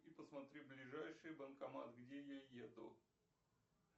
и посмотри ближайший банкомат где я еду